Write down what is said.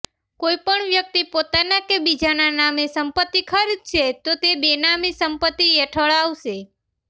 કોઇ પણ વ્યક્તિ પોતાના કે બીજાના નામે સંપત્તિ ખરીદશે તો તે બેનામી સંપત્તિ હેઠળ અાવશે